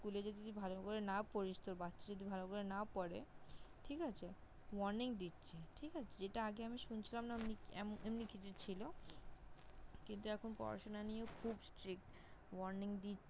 School -এ যদি তুই ভালো করে না পড়িস তোর বাচ্ছা যদি ভালো করে না পড়ে ঠিক আছে Warning দিচ্ছে। ঠিক আছে। যেটা আমি আগে শুনছিলাম না ওমনি এমনি কিছু ছিল। কিন্তু এখন পড়াশোনা নিয়েও খুব Strict । Warning